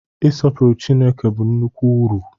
Ịsọpụrụ Chineke bụ nnukwu uru.